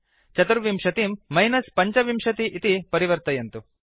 24 चतुर्विंशतिं मिनस् 25 इति परिवर्तयन्तु